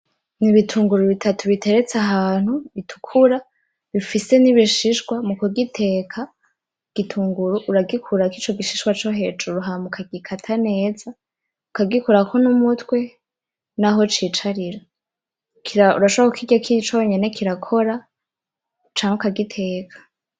Ni ibitungu bitatu biteretse ahantu bitukura, bifise nibishishwa, mu kugiteka igitunguru uragikurako ico gishishwa hejuru hama uka gikata neza ukagikurako numutwe naho cicarira ,urashobora kukirya ari conyene kirakora canke ukagiteka.